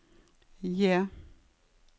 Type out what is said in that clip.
J